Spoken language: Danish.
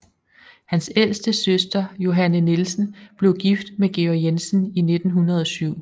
Hans ældste søster Johanne Nielsen blev gift med Georg Jensen i 1907